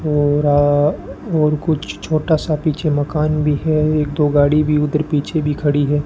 थोड़ा और कुछ छोटा सा पीछे मकान भी है एक दो गाड़ी भी उधर पीछे भी खड़ी है।